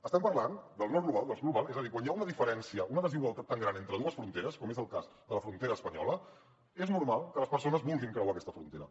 estem parlant del nord global i del sud global és a dir quan hi ha una diferència una desigualtat tan gran entre dues fronteres com és el cas de la frontera espanyola és normal que les persones vulguin creuar aquesta frontera